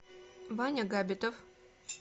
ваня габитов